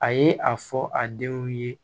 A ye a fɔ a denw ye